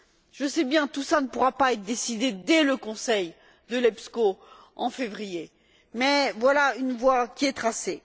Je sais bien que tout cela ne pourra pas être décidé dès le Conseil Epsco, en février, mais voilà une voie qui est tracée.